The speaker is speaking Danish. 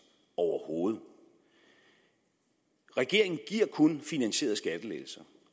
overhovedet regeringen giver kun finansierede skattelettelser